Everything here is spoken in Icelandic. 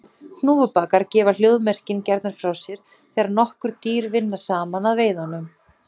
Hnúfubakar gefa hljóðmerkin gjarnan frá sér þegar nokkur dýr vinna saman að veiðunum.